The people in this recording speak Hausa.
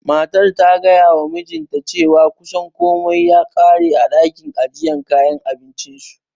Matar ta gayawa mijinta cewa kusan komai ya ƙare a ɗakin ajiye kayan abincinsu.